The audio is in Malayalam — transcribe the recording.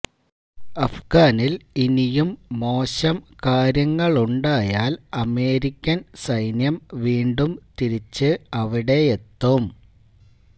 അഫ്ഗാനിൽ ഇനിയും മോശം കാര്യങ്ങളുണ്ടായാൽ അമേരിക്കൻ സൈന്യം വീണ്ടും തിരിച്ച് അവിടെയെത്തും